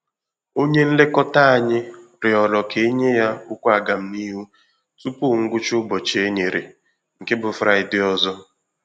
Onye nlekọta anyị rịọrọ ka enye ya okwu aga m n'ihu tupu ngwụcha ụbọchị e nyere, nke bụ fraịdee ọzọ